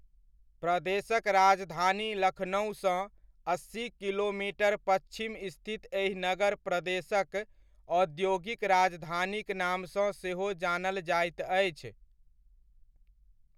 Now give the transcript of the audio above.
प्रदेशक राजधानी लखनउसँ अस्सी किलोमीटर पच्छिम स्थित एहि नगर प्रदेशक औद्योगिक राजधानीक नामसँ सहो जानल जाइत अछि।